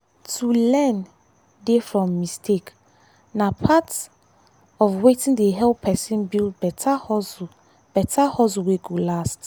to learn dey from mistake na part of wetin dey help person build better hustle better hustle wey go last.